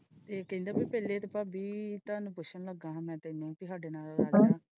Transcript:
ਇਹ ਇਹ ਕਹਿੰਦਾ ਪਹਿਲੇ ਕੀ ਭਾਭੀ ਤੁਹਾਨੂੰ ਪੁੱਛਣਾ ਲੱਗਾ ਸੀ ਮੈਂ ਤੈਨੂੰ ਕਿ ਸਾਡੇ ਨਾਲ ਲਾ ਲੈ ਗਏ।